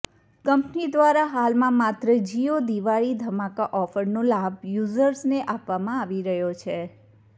company દ્વારા હાલમાં માત્ર જિયો દિવાળી ધમાકા ઓફરનો લાભ યુઝર્સને આપવામાં આવી રહ્યો છે